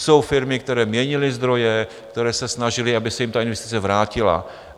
Jsou firmy, které měnily zdroje, které se snažily, aby se jim ta investice vrátila.